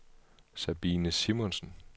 Sabine Simonsen